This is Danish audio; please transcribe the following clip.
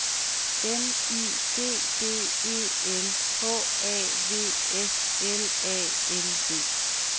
M I D D E L H A V S L A N D